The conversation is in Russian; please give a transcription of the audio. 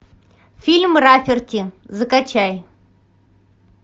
фильм рафферти закачай